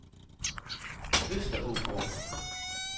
Østerågård